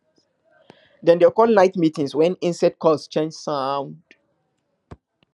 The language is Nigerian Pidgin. dem dey call night meetings when insect calls change sound